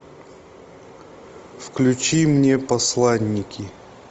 включи мне посланники